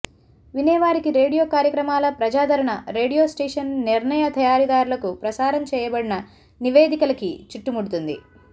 వినేవారికి radio కార్యక్రమాల ప్రజాదరణ radio station నిర్ణయ తయారీదారులకు ప్రసారం చేయబడిన నివేదికలకి చుట్టుముడుతుంది